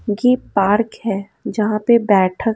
गी पार्क है यहां पे बैठक--